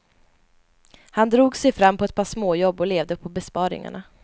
Han drog sig fram på ett par småjobb och levde på besparingarna.